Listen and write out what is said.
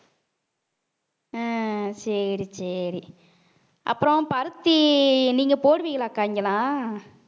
ஹம் சரி சரி அப்புறம் பருத்தி நீங்க போடுவீங்களாக்கா இங்கெல்லாம்